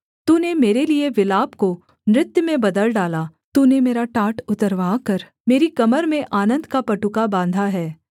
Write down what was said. तूने मेरे लिये विलाप को नृत्य में बदल डाला तूने मेरा टाट उतरवाकर मेरी कमर में आनन्द का पटुका बाँधा है